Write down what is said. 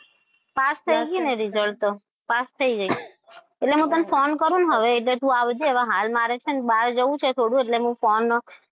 Pass થઈ ગઈ ને result તો પાસ થઈ ગઈ. એટલે હું તને phone કરું ને એટલે તું આવજે હવે હાલ મારે છે ને બહાર જવું છે. એટલે હું phone,